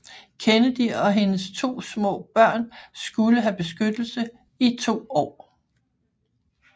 Kennedy og hendes 2 små børn skulle have beskyttelse i 2 år